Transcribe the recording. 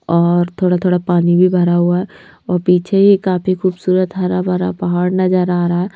और थोड़ा-थोड़ा पानी भी भरा हुआ है और पीछे यह काफी खूबसूरत हरा भरा पहाड़ नजर आ रहा है।